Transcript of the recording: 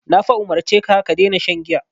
Na fa umurce ka "ka daina shan giya".